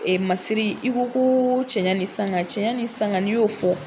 Ee masiri. I ko ko cɛ ɲɛ ni sanga, cɛ ɲa ni sanga n'i y'o fɔ